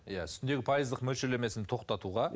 иә үстіндегі пайыздық мөлшерлемесін тоқтатуға